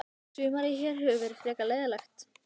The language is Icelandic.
Sumarið hér hefur verið frekar leiðinlegt.